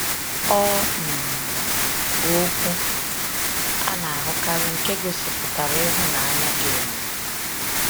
Ọ um bụ okwu a na-ahụkarị nke gosipụtara ịhụnanya dị omimi.